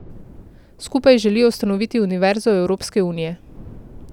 Skupaj želijo ustanoviti Univerzo Evropske unije.